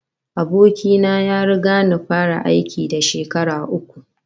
Aboki na ya riga ni fara aiki da shekara uku